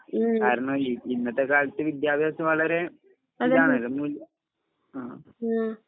ഉം. അതന്നെ. ആഹ്.